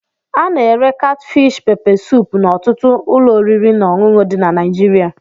Ana-ere katfish pepe suup n'ọtụtụ ụlọ oriri na ọṅụṅụ dị na Naịjirịa.